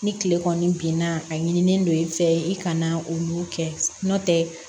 Ni kile kɔni binna a ɲinilen don i fɛ i kana olu kɛ n'o tɛ